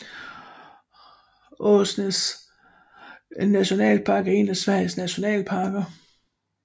Åsnens nationalpark er en af Sveriges nationalparker